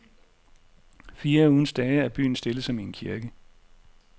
Fire af ugens dage er byen stille som i en kirke.